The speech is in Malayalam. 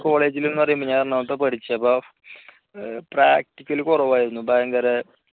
college ൽ എന്നുപറയുമ്പോൾ ഞാൻ എറണാകുളത്ത് പഠിച്ചേ അപ്പൊ practical കുറവായിരുന്നു ഭയങ്കര